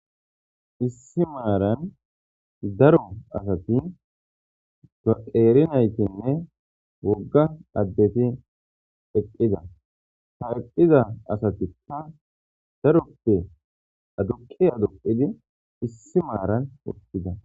Issi maaran daro asati gaqeerinaytinne wogga addeti eqqida ha eqqiza asatikka daroppe adukke aduqidi issi maaran hoqqida.